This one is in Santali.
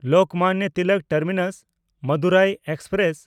ᱞᱳᱠᱢᱟᱱᱱᱚ ᱛᱤᱞᱚᱠ ᱴᱟᱨᱢᱤᱱᱟᱥ–ᱢᱟᱫᱩᱨᱟᱭ ᱮᱠᱥᱯᱨᱮᱥ